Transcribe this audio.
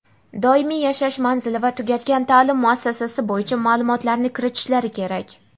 doimiy yashash manzili va tugatgan ta’lim muassasasi bo‘yicha ma’lumotlarni kiritishlari kerak.